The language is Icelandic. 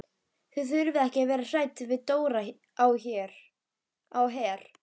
Þið þurfið ekki að vera hrædd við Dóra á Her.